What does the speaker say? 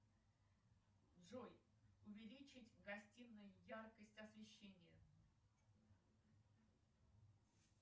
джой увеличить в гостинной яркость освещения